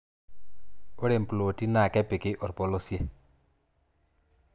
Ore mploti naa kepiki orpolosie.